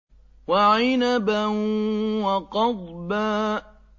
وَعِنَبًا وَقَضْبًا